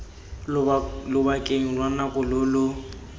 lobakeng lwa nako lo lo